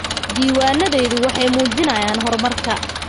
Diiwaanadayadu waxay muujinayaan horumarka.